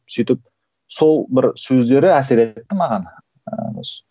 сөйтіп сол бір сөздері әсер етті маған